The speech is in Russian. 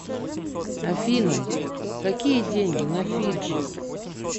афина какие деньги на фиджи